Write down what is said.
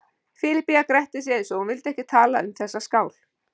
Filippía gretti sig eins og hún vildi ekki tala um þessa skál.